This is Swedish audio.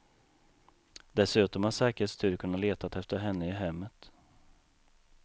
Dessutom har säkerhetsstyrkorna letat efter henne i hemmet.